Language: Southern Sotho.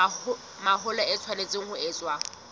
mahola e tshwanetse ho etswa